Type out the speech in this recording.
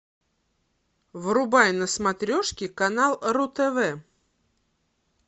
врубай на смотрешке канал ру тв